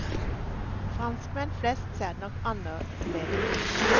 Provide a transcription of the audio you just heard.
Franskmenn flest ser det nok annerledes.